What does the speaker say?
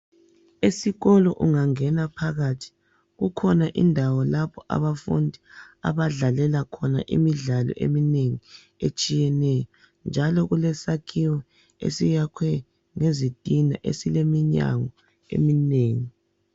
Esikolo ungangena phakathi kukhona indawo lapho abafundi abadlalela khona imidlalo eminengi etshiyeneyo njalo kulesakhiwo esiyakhwe ngezitina esileminyango eminengi.